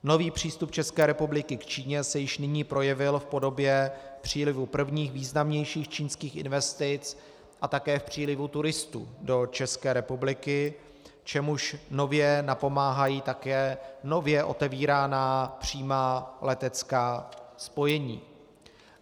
Nový přístup České republiky k Číně se již nyní projevil v podobě přílivu prvních významnějších čínských investic a také v přílivu turistů do České republiky, čemuž nově napomáhají také nově otevíraná přímá letecká spojení.